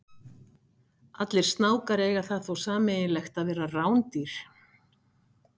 Allir snákar eiga það þó sameiginlegt að vera rándýr.